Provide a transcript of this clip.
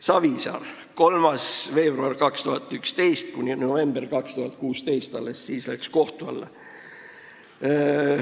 Savisaar: 3. veebruarist 2011 kuni novembrini 2016, alles pärast seda läks kohtu alla.